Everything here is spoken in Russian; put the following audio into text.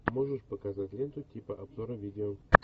можешь показать ленту типа обзора видео